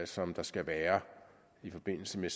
som der skal være i forbindelse med